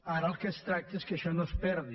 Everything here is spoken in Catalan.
ara del que es tracta és que això no es perdi